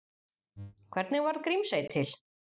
Hvernig varð Grímsey til?